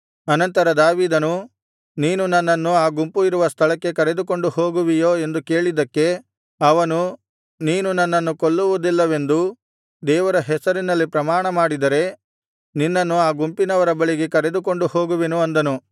ಅನಂತರ ದಾವೀದನು ನೀನು ನನ್ನನ್ನು ಆ ಗುಂಪು ಇರುವ ಸ್ಥಳಕ್ಕೆ ಕರೆದುಕೊಂಡು ಹೋಗುವಿಯೋ ಎಂದು ಕೇಳಿದ್ದಕ್ಕೆ ಅವನು ನೀನು ನನ್ನನ್ನು ಕೊಲ್ಲುವುದಿಲ್ಲವೆಂದೂ ದೇವರ ಹೆಸರಿನಲ್ಲಿ ಪ್ರಮಾಣ ಮಾಡಿದರೆ ನಿನ್ನನ್ನು ಆ ಗುಂಪಿನವರ ಬಳಿಗೆ ಕರಕೊಂಡು ಹೋಗುವೆನು ಅಂದನು